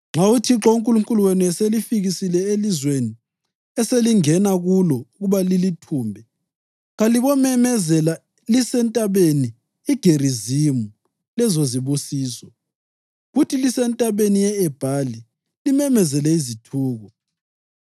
Nxa uThixo uNkulunkulu wenu eselifikisile elizweni eselingena kulo ukuba lilithumbe, kalibomemezela liseNtabeni iGerizimu lezozibusiso, kuthi liseNtabeni ye-Ebhali limemezele izithuko.